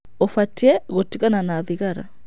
Ũbatiĩ gũtigana na thigara.